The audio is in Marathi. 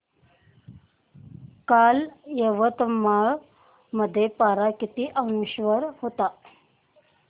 काल यवतमाळ मध्ये पारा किती अंशावर होता